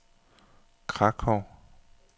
Krakow